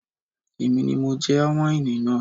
Èmi ni mo já wáìnì náà